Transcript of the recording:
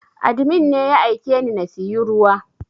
Admin ne ya aikeni na siyu ruwa